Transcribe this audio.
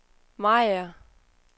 Mariager